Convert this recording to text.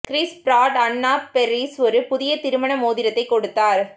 Chris Pratt Anna Faris ஒரு புதிய திருமண மோதிரத்தை கொடுத்தார்